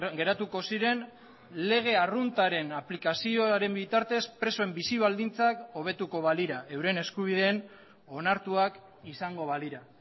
geratuko ziren lege arruntaren aplikazioaren bitartez presoen bizi baldintzak hobetuko balira euren eskubideen onartuak izango balira